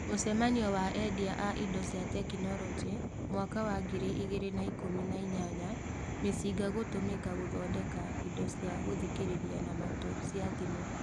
Mũcemanio wa endia a indo cia tekinolonjĩ mwaka wa ngiri igĩrĩ na ikũmi na inyanya: mĩcinga gũtũmĩka gũthondeka indo cia gũthikĩrĩria na matũ cia thimu.